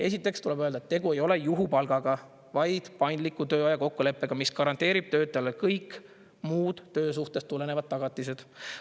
" Esiteks tuleb öelda, et tegu ei ole juhupalgaga, vaid paindliku tööaja kokkuleppega, mis garanteerib töötajale kõik muud töösuhtest tulenevad tagatised.